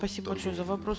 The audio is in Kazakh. спасибо большое за вопрос